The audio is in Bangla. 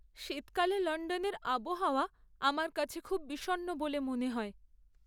শীতকালে লণ্ডনের আবহাওয়া আমার কাছে খুব বিষণ্ণ বলে মনে হয়।